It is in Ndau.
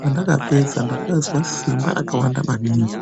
Pendakapedza ndakazwa simba rakawanda maningi.